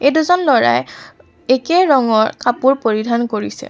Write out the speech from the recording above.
এই দুজন ল'ৰাই একে ধৰণৰ কাপোৰ পৰিধান কৰিছে।